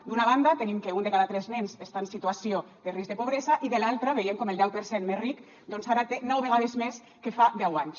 d’una banda tenim que un de cada tres nens està en situació de risc de pobresa i de l’altra veiem com el deu per cent més ric doncs ara té nou vegades més que fa deu anys